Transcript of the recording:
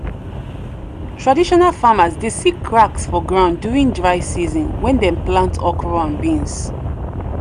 traditional farmers dey see cracks for ground during dry season when dem plant okra and beans.